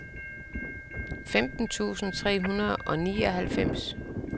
femten tusind tre hundrede og nioghalvfems